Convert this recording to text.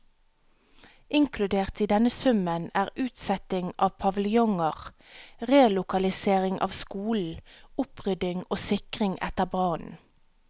Inkludert i denne summen er utsetting av paviljonger, relokalisering av skolen, opprydding og sikring etter brannen.